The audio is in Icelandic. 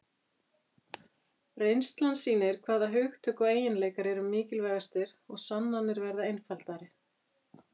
reynslan sýnir hvaða hugtök og eiginleikar eru mikilvægastir og sannanir verða einfaldari